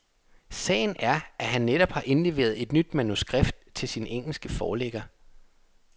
Sagen er, at han netop har indleveret et nyt manuskript til sin engelske forlægger.